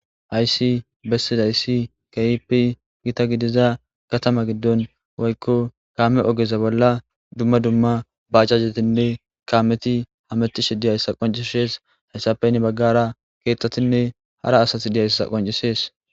hayssi bessidayssi kahipi gita gidiza katama giddon woykko kaame ogeza bolla dumma dumma bajajetinne kaameti hametishe diyayssa qoncishees hayssape hini baggara keeththatinne hara asati diyayssa qoncisees